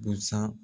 Busan